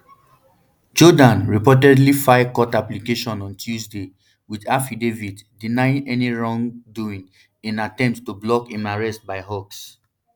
jordaan reportedly file court application on tuesday wit affidavit denying any wrongdoing in attempt to block im arrest by hawks